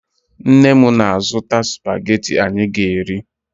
Nne m na-azụta spagetị anyị ga-eri